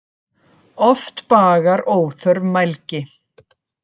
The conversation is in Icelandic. Oft bagar óþörf mælgi.